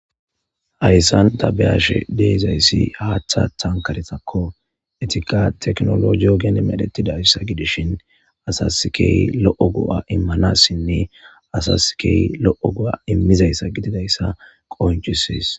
Hayssan tabeyashe deezayssi haaththa tankaretakko etika teknolo joogen medhetidayssa gidishin asaskey lo7o go7a immanassinne asaskey lo7o go7a immizayssa gididayssa qonchisis.